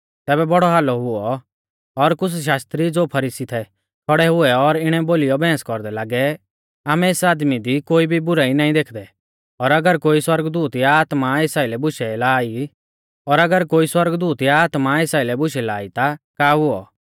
तैबै बौड़ौ हालौ हुऔ और कुछ़ शास्त्री ज़ो फरीसी थै खौड़ै हुऐ और इणै बोलीयौ बैंहस कौरदै लागै आमै एस आदमी दी कोई भी बुराई नाईं देखदै और अगर कोई सौरगदूत या आत्मा एस आइलै बुशै लाई ता का हुऔ